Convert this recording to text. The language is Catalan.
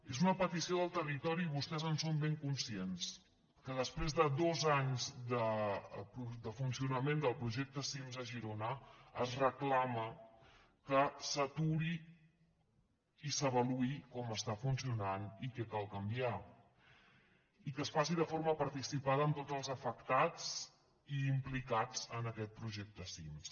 és una petició del territori i vostès en són ben conscients que després de dos anys de funcionament del projecte cims a girona es reclama que s’aturi i s’avaluï com està funcionant i què cal canviar i que es faci de forma participada amb tots els afectats i implicats en aquest projecte cims